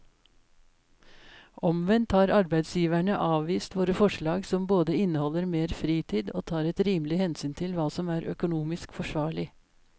Omvendt har arbeidsgiverne avvist våre forslag som både inneholder mer fritid og tar et rimelig hensyn til hva som er økonomisk forsvarlig.